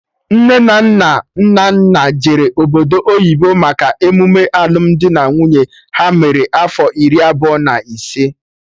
Nne na nna Nnanna jere obodo oyibo maka emume alụmdi na nwunye ha mere afọ iri abụọ na ise